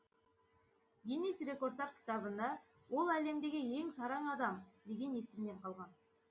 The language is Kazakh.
гиннес рекордтар кітабында ол әлемдегі ең сараң адам деген есіммен қалған